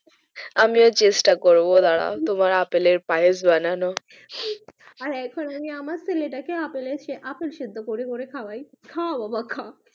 আমি ও চেষ্টা করবো আপেল এর পায়েস বানানোর দাড়াও তোমার আপেল এর পায়েস বানানোর চেষ্টা করবো আর এখন আমি আমার ছেলেটাকে আপেল সেদ্ধ করে করে খাওয়াই খা বাবা খা